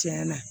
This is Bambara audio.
Tiɲɛna